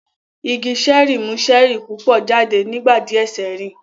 Igi ṣẹ́ẹ̀rì mú ṣẹ́ẹ̀rì púpọ̀ jáde nígbà díẹ̀ sẹ́yìn